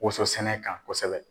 Woso sɛnɛkan kosɛbɛ.